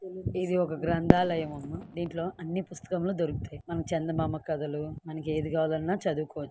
ఇది ఒక గ్రంధాలయమమ్మ దింట్లో అన్ని పుస్తకములు దొరుకుతాయి మన చందమామ కథలు మనకి ఏది కావాలన్నా చదువుకోవచ్చు.